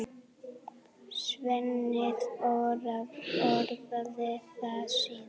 Svenni orðaði það síðar.